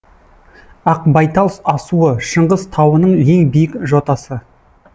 ақбайтал асуы шыңғыс тауының ең биік жотасы